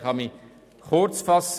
Ich kann mich kurz fassen.